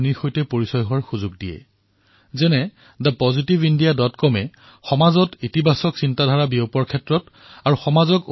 মই অলপতে thebetterindiacom ৱেবছাইটৰ কথা উল্লেখ কৰিছোঁ যত মই ডাঃ জয়াচন্দ্ৰণৰ বিষয়ে জনাৰ সুযোগ লাভ কৰিছো আৰু যেতিয়াই সুবিধা পাওঁ তেতিয়াই এই ৱেবছাইটত এনে উৎসাহী কামক জনাৰ বাবে প্ৰয়াস কৰোঁ